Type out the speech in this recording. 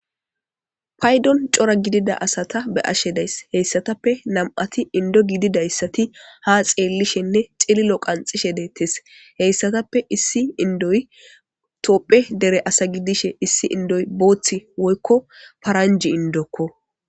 Paydon c'ora gidida asata be'ashe days heysatape nam'ati Indo gididaysati ha xelishene c'ililo qanxishe detes heysatape issi indoy tophey dere asa gidishe issi indoy bo'ti woyko paranje indokko.